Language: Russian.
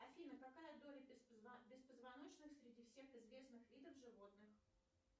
афина какая доля беспозвоночных среди всех известных видов животных